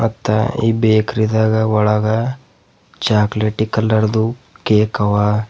ಮತ್ತ ಈ ಬೇಕರಿ ದಾಗ ಒಳಗ ಚಾಕ್ಲೇಟ್ ಕಲರ್ ದು ಕೇಕ್ ಅವ.